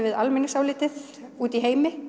við almenningsálitið úti í heimi